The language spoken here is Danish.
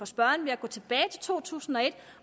spørgeren ved at gå tilbage til to tusind og et